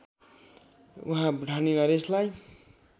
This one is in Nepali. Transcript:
उहाँ भुटानी नरेशलाई